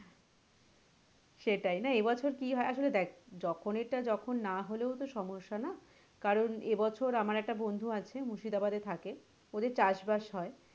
সেটাই না এবছর কি হয় না আসলে দেখ জখনের টা যখন না হলেও তো সমস্যা না? কারন এবছর আমার একটা বন্ধু আছে মুর্শিদাবাদে থাকে ওদের চাষ বাস হয়,